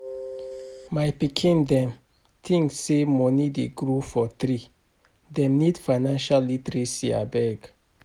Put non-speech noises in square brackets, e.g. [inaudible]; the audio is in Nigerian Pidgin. [noise] My pikin dem tink sey moni dey grow for tree, dem need financial literacy abeg.